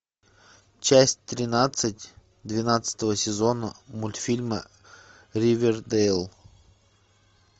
часть тринадцать двенадцатого сезона мультфильма ривердейл